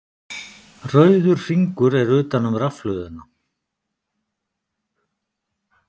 Rauður hringur er utan um rafhlöðuna.